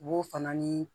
U b'o fana ni